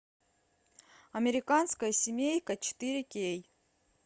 американская семейка четыре кей